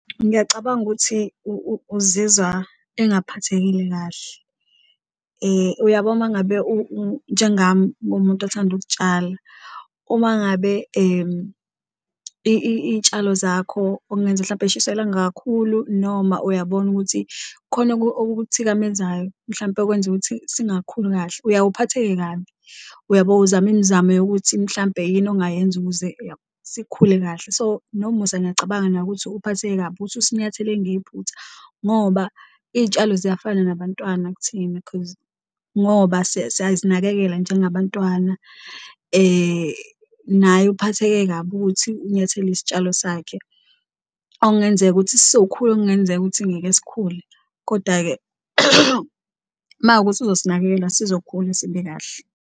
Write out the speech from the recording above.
Ngiyacabanga ukuthi uzizwa engaphathekile kahle. Uyabo uma ngabe njengami ungumuntu othanda ukutshala uma ngabe iy'tshalo zakho okungenzeka mhlampe zishiswa ilanga kakhulu, noma uyabona ukuthi kukhona okukuthikamezayo mhlampe okwenza ukuthi singakhuli kahle, uyawuphatheke kabi. Uyabo? Uzame imizamo yokuthi mhlampe yini ongayenza ukuze sikhule kahle so, noMusa ngiyacabanga naye ukuthi uphatheke kabi ukuthi usinyathele ngephuthuma ngoba iy'tshalo ziyafana nabantwana kuthina cause ngoba siyazinakekela njengabantwana. Naye uphatheke kabi ukuthi unyathele isitshalo sakhe okungenzeka ukuthi sizokhula okungenzeka ukuthi angeke sikhule, kodwa-ke makuwukuthi uzosinakekela sizokhula, sibe kahle.